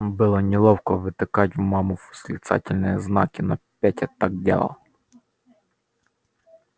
было неловко втыкать в маму восклицательные знаки но петя так делал